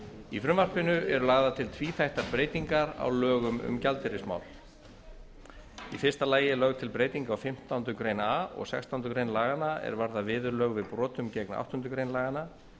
í frumvarpinu eru lagðar til tvíþættar breytingar á lögum um gjaldeyrismál í fyrsta lagi er lögð til breyting á fimmtándu grein a og sextándu grein laganna er varða viðurlög við brotum gegn átta greinar laganna